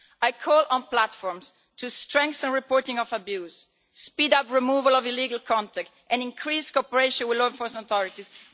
I call on platforms to strengthen the reporting of abuse, speed up the removal of illegal content and increase cooperation with law enforcement authorities.